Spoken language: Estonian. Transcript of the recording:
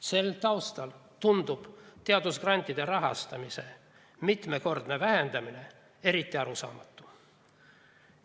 Sel taustal tundub teadusgrantide rahastamise mitmekordne vähendamine eriti arusaamatu.